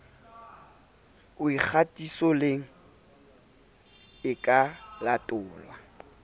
o kgatisoleng e ka latolwa